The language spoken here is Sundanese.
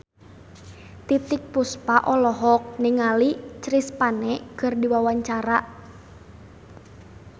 Titiek Puspa olohok ningali Chris Pane keur diwawancara